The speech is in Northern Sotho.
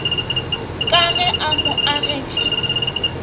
ka ge a mo agetše